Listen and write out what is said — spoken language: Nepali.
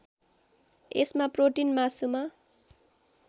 यसमा प्रोटीन मासुमा